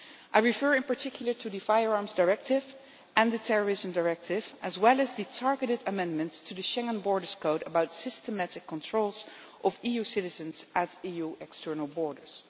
I refer in particular to the Firearms Directive and the Terrorism Directive, as well as the targeted amendments to the Schengen Borders Code about systematic controls of EU citizens at EU external borders.